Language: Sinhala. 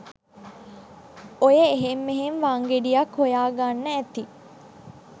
ඔය එහෙන් මෙහෙන් වංගෙඩියක් හොයාගන්න ඇති